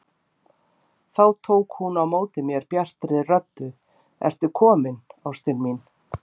Þá tók hún á móti mér bjartri röddu: Ertu kominn ástin mín!